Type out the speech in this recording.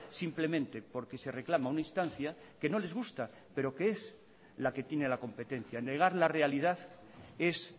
simplemente porque se reclama una instancia que no les gusta pero que es la que tiene la competencia negar la realidad es